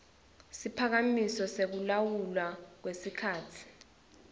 siphakamiso sekulawulwa kwesikhatsi